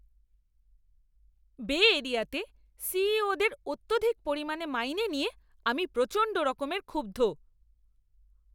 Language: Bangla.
বে এরিয়াতে সিইও দের অত্যধিক পরিমাণে মাইনে নিয়ে আমি প্রচণ্ডরকম ক্ষুব্ধ।